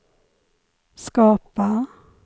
skapa